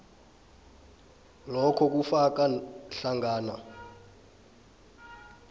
lokho kufaka hlangana